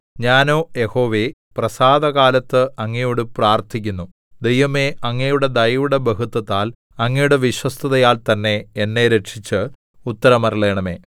ഞാനോ യഹോവേ പ്രസാദകാലത്ത് അങ്ങയോട് പ്രാർത്ഥിക്കുന്നു ദൈവമേ അങ്ങയുടെ ദയയുടെ ബഹുത്വത്താൽ അങ്ങയുടെ വിശ്വസ്തതയാൽ തന്നെ എന്നെ രക്ഷിച്ച് ഉത്തരമരുളണമേ